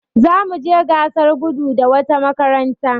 Za mu je gasar gudu da wata makaranta.